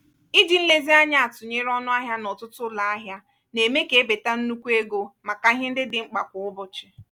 iji nlezianya atụnyere ọnụ ahịa n'ọtụtụ ụlọ ahịa na-eme ka ebeta nnukwu ego maka ihe ndị dị mkpa kwa ụbọchị.